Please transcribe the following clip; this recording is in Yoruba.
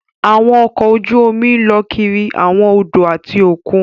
Àwọn ọkọ ojú omi lọ kiri awọn odò ati okùn